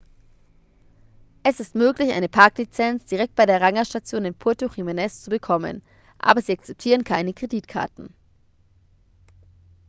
es ist möglich eine parklizenz direkt bei der rangerstation in puerto jiménez zu bekommen aber sie akzeptieren keine kreditkarten